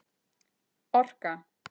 Orka